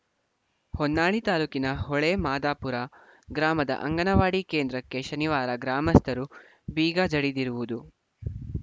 ಹೊನ್ನಾಳಿ ತಾಲೂಕಿನ ಹೊಳೆ ಮಾದಾಪುರ ಗ್ರಾಮದ ಅಂಗನವಾಡಿ ಕೇಂದ್ರಕ್ಕೆ ಶನಿವಾರ ಗ್ರಾಮಸ್ಥರು ಬೀಗ ಜಡಿದಿರುವುದು